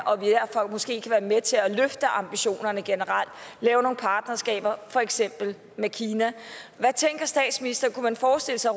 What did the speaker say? måske være med til at løfte ambitionerne generelt lave nogle partnerskaber for eksempel med kina hvad tænker statsministeren kunne man forestille sig